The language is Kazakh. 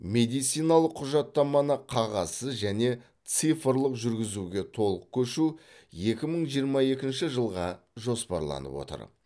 медициналық құжаттаманы қағазсыз және цифрлық жүргізуге толық көшу екі мың жиырма екінші жылға жоспарланып отыр